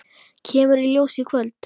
Kemur í ljós í kvöld.